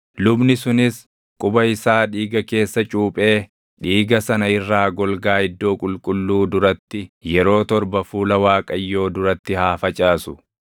Lubni sunis quba isaa dhiiga keessa cuphee dhiiga sana irraa golgaa iddoo qulqulluu duratti yeroo torba fuula Waaqayyoo duratti haa facaasu.